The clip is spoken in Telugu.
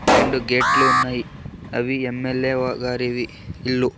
రెండు గేట్ లు ఉన్నాయి అవి ఎమ్_ఎల్_ఎ వ గారివి ఇల్లు.